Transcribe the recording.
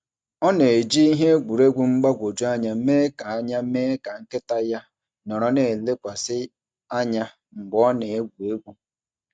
Ọ na-eji ihe egwuregwu mgbagwoju anya mee ka anya mee ka nkịta ya nọrọ na-elekwasị anya mgbe ọ na-egwu egwu.